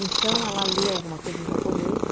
Então, ela lê alguma coisa em japonês.